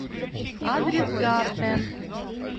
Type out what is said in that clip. адрес гарден